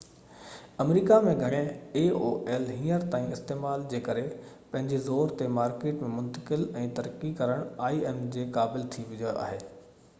هينئر تائين aol آمريڪا ۾ گهڻي استعمال جي ڪري پنهنجي زور تي im مارڪيٽ ۾ منتقل ۽ ترقي ڪرڻ جي قابل ٿي ويو آهي